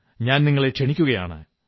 ഞാൻ നിങ്ങളെ ക്ഷണിക്കയാണ്